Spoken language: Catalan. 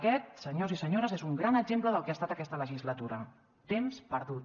aquest senyors i senyores és un gran exemple del que ha estat aquesta legislatura temps perdut